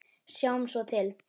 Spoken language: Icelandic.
Sjáum svo til.